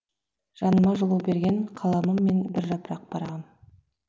жаныма жылу берген қаламым мен бір жапырақ парағым